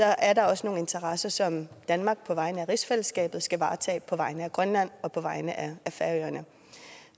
er der også nogle interesser som danmark på vegne af rigsfællesskabet skal varetage på vegne af grønland og på vegne